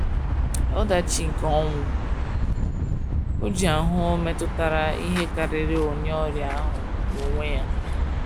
Ọdachi nke Ọnwụ Ojii ahụ metutara ihe karịrị onye ọrịa ahụ n’onwe ya.